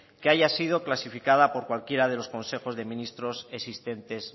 que haya sido clasificada por cualquiera de los consejos de ministros existentes